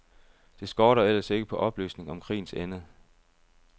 Det skorter ellers ikke på oplysning om krigens ende.